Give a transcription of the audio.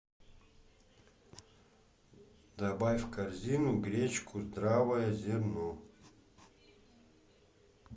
добавь в корзину гречку здравое зерно